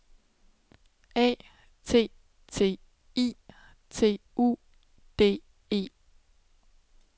A T T I T U D E